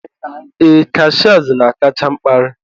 ee, Cashiers na-akacha mkparị.